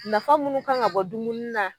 Nafa munnu kan ŋa bɔ dumuni na